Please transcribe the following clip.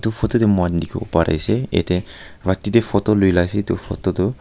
photo te moikhan dikhiwo pari ase ete rati te photo lua la ase etu photo tu--